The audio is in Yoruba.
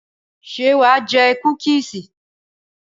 Ṣé wà á jẹ kúkísì?